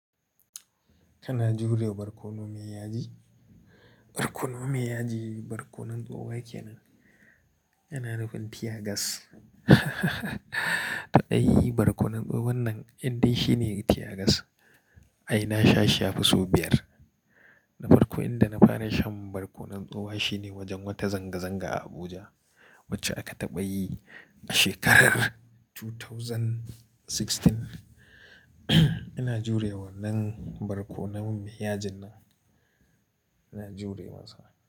Ina jure barkono me yaji. Barkono me yaji, barkonon tsoho yake nan. Yana nufin tiyagas. To ai barkonon tsohon nan indai shine tiyagas. Ai na sha shi yafi su biyar. Na farko inda na fara shan barkonon tsoho shine wajen wata zanga-zanga a Abuja wacce aka taɓa yi a shekarar dubu biyu da sha shida. Ina jure wannan barkonon me yajin nan, ina jure masa.